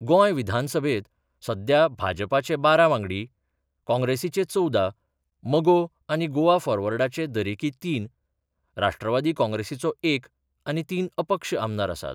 गोंयविधानसभेत सध्या भाजपाचे बारा वांगडी, काँग्रेसीचे चवदा, मगो आनी गोवा फॉरवर्डाचे दरेकी तीन, राष्ट्रवादी काँग्रेसीचो एक आनी तीन अपक्ष आमदार आसात.